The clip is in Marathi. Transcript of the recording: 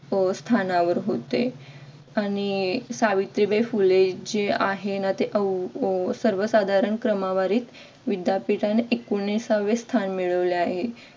स्थानावर होते आणि सावित्रीबाई फुले जे आहे ना ते सर्वसाधारण क्रमवारीत विद्यापीठाने एकोणिसावे स्थान मिळाले आहे.